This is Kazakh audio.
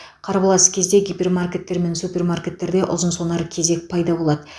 қарбалас кезде гипермаркеттер мен супермаркеттерде ұзын сонар кезек пайда болады